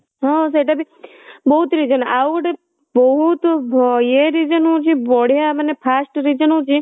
ହଁ ସେଇଟା ବି ବହୁତ reason ଆଉ ଗୋଟେ ବହୁତ ଇଏ reason ହଉଛି ବଢିଆ ମାନେ first reason ହଉଛି